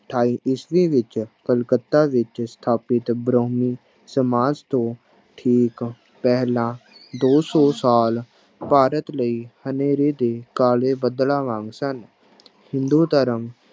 ਅਠਾਈ ਈਸਵੀ ਵਿੱਚ ਕਲਕੱਤਾ ਵਿੱਚ ਸਥਾਪਿਤ ਬ੍ਰਹਮੀ ਸਮਾਜ ਤੋਂ ਠੀਕ ਪਹਿਲਾਂ ਦੋ ਸੌ ਸਾਲ ਭਾਰਤ ਲਈ ਹਨੇਰੇ ਦੇ ਕਾਲੇ ਬੱਦਲਾਂ ਵਾਂਗ ਸਨ, ਹਿੰਦੂ ਧਰਮ